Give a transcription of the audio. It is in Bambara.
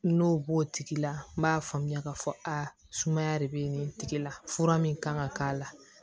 N'o b'o tigi la n b'a faamuya k'a fɔ a sumaya de bɛ nin tigi la fura min kan ka k'a la